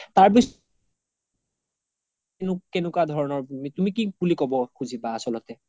তাৰ পিচত কেনেকুৱা ধৰণৰ তুমি কি বুলি কব খুজিবা আছ্ল্তে